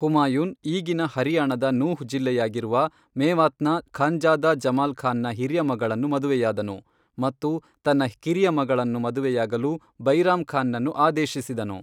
ಹುಮಾಯೂನ್ ಈಗಿನ ಹರಿಯಾಣದ ನೂಹ್ ಜಿಲ್ಲೆಯಾಗಿರುವ ಮೇವಾತ್ನ ಖಾನ್ಜಾದಾ ಜಮಾಲ್ ಖಾನ್ ನ ಹಿರಿಯ ಮಗಳನ್ನು ಮದುವೆಯಾದನು ಮತ್ತು ತನ್ನ ಕಿರಿಯ ಮಗಳನ್ನು ಮದುವೆಯಾಗಲು ಬೈರಾಮ್ ಖಾನ್ ನನ್ನು ಆದೇಶಿಸಿದನು.